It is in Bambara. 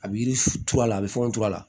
A bɛ yiri turu a la a bɛ fɛnw turu a la